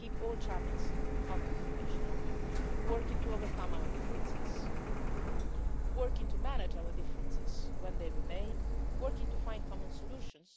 basis. We will keep all channels of communication open, working to overcome our differences, working to manage our differences when they remain, and working to find common solutions.